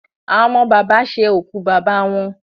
Àwọn ọmọ bàbá ṣe òkú bàbá wọn.